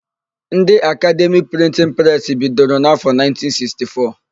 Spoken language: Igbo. Ndị Akademi Prịntịn presị bidoro n'afọ 1964.